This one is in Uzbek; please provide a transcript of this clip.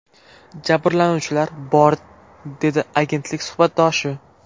Jabrlanuvchilar bor”, dedi agentlik suhbatdoshi.